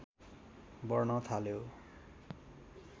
बढ्न थाल्यो